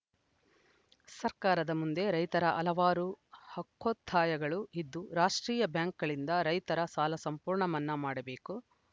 ಸರ್ಕಾರದ ಮುಂದೆ ರೈತರ ಹಲವಾರು ಹಕ್ಕೋತ್ತಾಯಗಳು ಇದ್ದು ರಾಷ್ಟ್ರೀಯ ಬ್ಯಾಂಕ್‌ಗಳಿಂದ ರೈತರ ಸಾಲ ಸಂಪೂರ್ಣ ಮನ್ನಾ ಮಾಡಬೇಕು